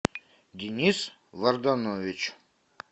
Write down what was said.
денис варданович